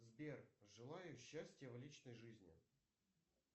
сбер желаю счастья в личной жизни